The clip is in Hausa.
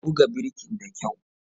Ka buga birkin da kyau!